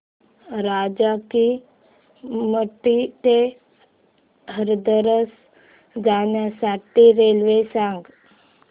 राजा की मंडी ते हाथरस जाण्यासाठी रेल्वे सांग